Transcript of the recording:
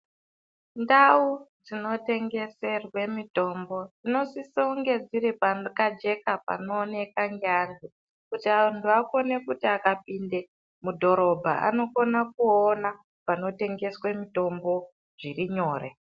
Ndau dzinotengeserwe mitombo dzinosise kunge dziri pakajeka panooneka ngeanhu kuti anhu akone kuti akapinde mudhorobha anokone kuona panotengeswe mitombo zvirinyore.